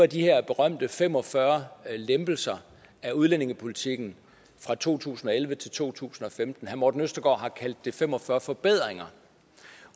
de her berømte fem og fyrre lempelser af udlændingepolitikken fra to tusind og elleve til to tusind og femten herre morten østergaard har kaldt det fem og fyrre forbedringer